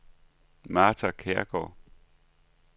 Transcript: Martha Kjærgaard